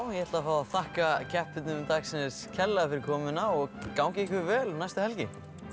ég ætla að fá að þakka keppendum dagsins kærlega fyrir komuna og gangi ykkur vel um næstu helgi